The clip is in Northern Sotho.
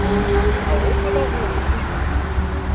a gopola gore o ile